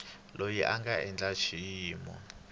loyi a nga eka xiyimo